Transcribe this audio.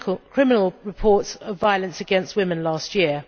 criminal reports of violence against women last year.